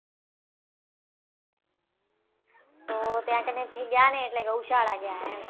તો ત્યાં કને થી ગયા ને એટલે ગૌશાળા ગયા એમ